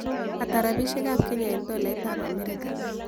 Ata rabishiekap kenya eng tolaitap amerika